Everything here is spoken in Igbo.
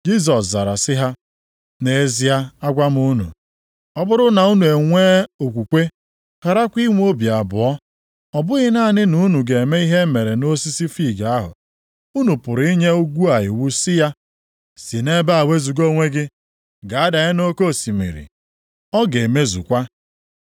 Jisọs zara sị ha, “Nʼezie agwa m unu, ọ bụrụ na unu e nwee okwukwe, gharakwa inwe obi abụọ, ọ bụghị naanị na unu ga-eme ihe e mere osisi fiig ahụ. Unu pụrụ inye ugwu a iwu sị ya, ‘Si nʼebe a wezuga onwe gị, gaa danye nʼoke osimiri.’ Ọ ga-emezukwa.